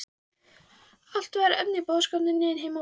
Allt var efni í boðskap um nýjan heim og betri